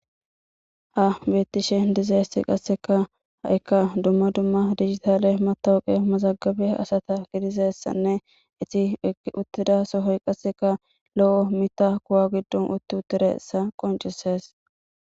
Ha beettishe dizessi qasseka ha'ikka dumma dumma digitaale matowoqe mazagabe asata gidizessanne iti egi uttida sohoy qasseka lo'o mita kuwa giddon utti uttireessa qoncisees